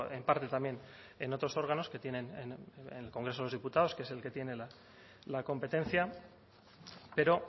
en parte también en otros órganos que tienen en el congreso de los diputados que es el que tiene la competencia pero